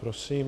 Prosím.